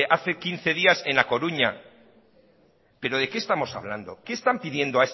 hace quince días en la coruña pero de qué estamos hablando qué están pidiendo